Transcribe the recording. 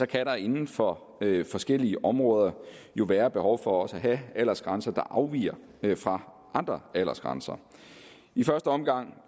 kan der inden for forskellige områder jo være behov for også at have aldersgrænser der afviger fra andre aldersgrænser i første omgang